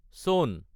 চন